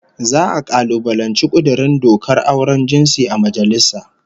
Za'a kalubalanci kudurin dokar auren jinsi a majalisa